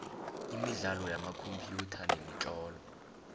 imidlalo yamakhompyutha nemitlolo